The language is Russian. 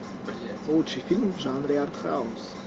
лучший фильм в жанре артхаус